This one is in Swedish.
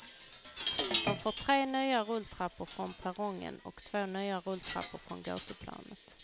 De får tre nya rulltrappor från perrongen och två nya rulltrappor från gatuplanet.